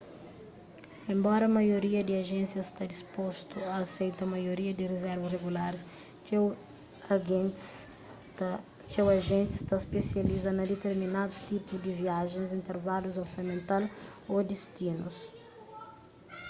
enbora maioria di ajénsia sta dispostu a aseita maioria di rizervas regularis txeu ajentis ta spesializa na diterminadus tipu di viajens intervalus orsamental ô distinus